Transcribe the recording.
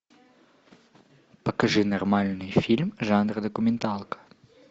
покажи нормальный фильм жанра документалка